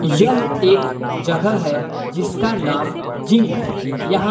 यह एक जगह है जिसका नाम जिम है यहां